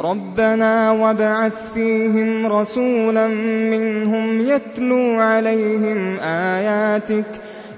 رَبَّنَا وَابْعَثْ فِيهِمْ رَسُولًا مِّنْهُمْ